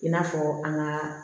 I n'a fɔ an ŋaa